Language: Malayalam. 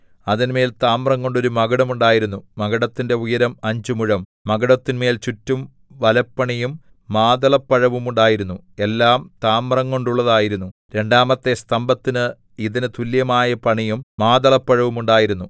അതിന്മേൽ താമ്രംകൊണ്ട് ഒരു മകുടം ഉണ്ടായിരുന്നു മകുടത്തിന്റെ ഉയരം അഞ്ച് മുഴം മകുടത്തിൻമേൽ ചുറ്റും വലപ്പണിയും മാതളപ്പഴവും ഉണ്ടായിരുന്നു എല്ലാം താമ്രംകൊണ്ടുള്ളതായിരുന്നു രണ്ടാമത്തെ സ്തംഭത്തിന് ഇതിന് തുല്യമായ പണിയും മാതളപ്പഴവും ഉണ്ടായിരുന്നു